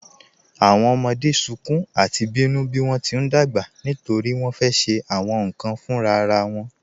Awọn ọmọde sọ̀kún àti bínu bí wọn ti n dágbà nítorí wọn fẹ́ ṣe awọn nkan fúnrara won